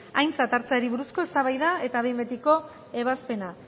aintzat hartzeari buruzko eztabaida eta behin betiko ebazpena